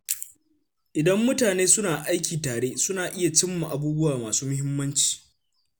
Idan mutane suna aiki tare, suna iya cimma abubuwa masu muhimmanci.